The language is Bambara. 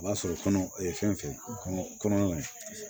O b'a sɔrɔ kɔnɔ fɛn fɛn kɔnɔ ye